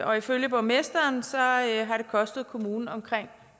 og ifølge borgmesteren har det kostet kommunen omkring